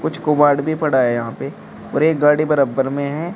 कुछ किवाड़ भी पड़ा है यहां पे और एक गाड़ी बराबर में है।